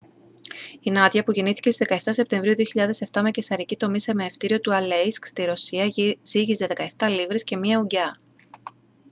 η νάντια που γεννήθηκε στις 17 σεπτεμβρίου 2007 με καισαρική τομή σε μαιευτήριο του αλέισκ στη ρωσία ζύγιζε 17 λίβρες και 1 ουγγιά